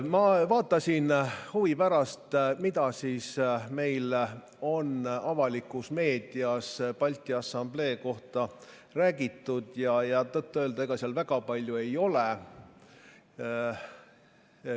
Ma vaatasin huvi pärast, mida meil on avalikus meedias Balti Assamblee kohta räägitud, ja tõtt-öelda ega seal väga palju ei ole.